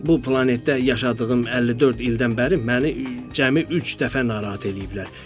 Bu planetdə yaşadığım 54 ildən bəri məni cəmi üç dəfə narahat eləyiblər.